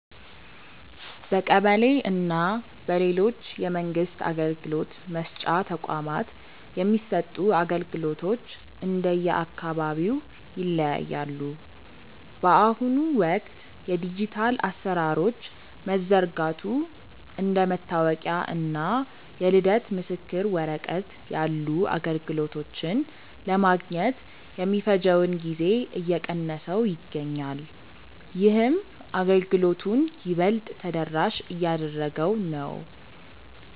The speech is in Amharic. በቀበሌ እና በሌሎች የመንግስት አገልግሎት መስጫ ተቋማት የሚሰጡ አገልግሎቶች እንደየአካባቢው ይለያያሉ። በአሁኑ ወቅት የዲጂታል አሰራሮች መዘርጋቱ እንደ መታወቂያ እና የልደት ምስክር ወረቀት ያሉ አገልግሎቶችን ለማግኘት የሚፈጀውን ጊዜ እየቀነሰው ይገኛል። ይህም አገልግሎቱን ይበልጥ ተደራሽ እያደረገው ነው።